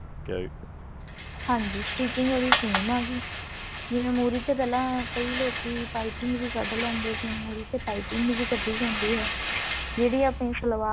ਹਾਂਜੀ stitching ਉਹਦੀ same ਆ ਜਿਵੇਂ ਮੁਰ੍ਹੀ ਤੇ ਪਹਿਲਾਂ ਕਈ ਲੋਕੀ ਪਾਈਪਿੰਨ ਵੀ ਕੱਢ ਲੈਂਦੇ ਆ ਮੁਰ੍ਹੀ ਤੇ ਪਾਈਪਿੰਨ ਵੀ ਕੱਢੀ ਜਾਂਦੀ ਹੈ ਜਿਹੜੀ ਆਪਣੀ ਸਲਵਾਰ